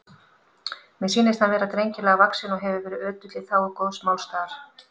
Mér sýnist hann vera drengilega vaxinn og hefur verið ötull í þágu góðs málstaðar.